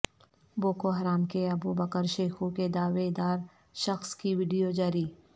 Boko Haram کے Abubakar Shekau کے دعوے دار شخص کی وڈیو جاری